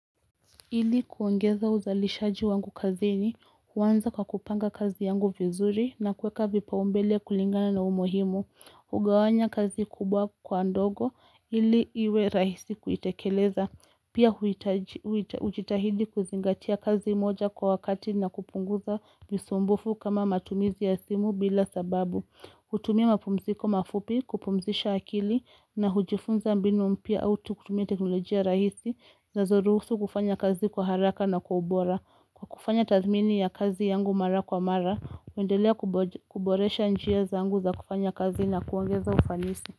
Ili kuongeza uzalishaji wangu kazini, huanza kwa kupanga kazi yangu vizuri na kuweka vipaumbele kulingana na umuhimu. Hugawanya kazi kubwa kwa ndogo, ili iwe rahisi kuitekeleza. Pia hujitahidi kuzingatia kazi moja kwa wakati na kupunguza misumbufu kama matumizi ya simu bila sababu. Kutumia mapumziko mafupi kupumzisha akili na hujifunza mbinu mpya au tu kutumia teknolojia rahisi zinazoruhusu kufanya kazi kwa haraka na kwa ubora. Kwa kufanya tathmini ya kazi yangu mara kwa mara, huendelea kuboresha njia zangu za kufanya kazi na kuongeza ufanisi.